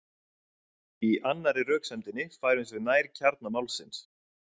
Í annarri röksemdinni færumst við nær kjarna málsins.